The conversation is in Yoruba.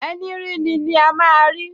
Ẹní ríni ni a máa rí!